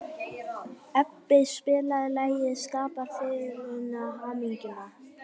Ebbi, spilaðu lagið „Skapar fegurðin hamingjuna“.